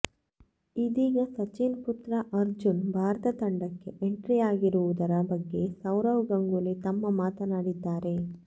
ಇದೀಗ ಸಚಿನ್ ಪುತ್ರ ಅರ್ಜುನ್ ಭಾರತ ತಂಡಕ್ಕೆ ಎಂಟ್ರಿಯಾಗಿರುವುದರ ಬಗ್ಗೆ ಸೌರವ್ ಗಂಗೂಲಿ ತಮ್ಮ ಮಾತನಾಡಿದ್ದಾರೆ